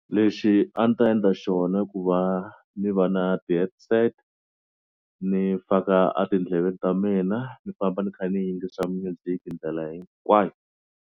Lexi a ni ta endla xona ku va ni va na ti-headset ni faka a tindleveni ta mina ni famba ni kha ni yingisa music-i ndlela hinkwayo.